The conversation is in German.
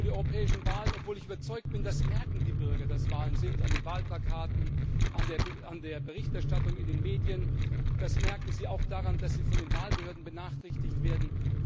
z. B. auch für die europäischen Wahlen, obwohl ich überzeugt bin, das merken die Bürger, dass Wahlen sind an den Wahlplakaten, an der Berichterstattung in den Medien, das merken sie auch daran, dass sie von den Wahlbehörden benachrichtigt werden.